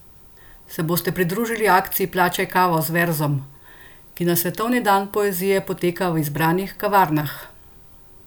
Se boste pridružili akciji Plačaj kavo z verzom, ki na svetovni dan poezije poteka v izbranih kavarnah?